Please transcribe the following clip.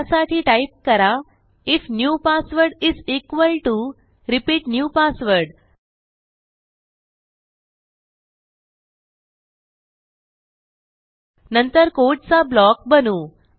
त्यासाठी टाईप करा if new password is equal to repeat new password नंतर कोडचा ब्लॉक बनवू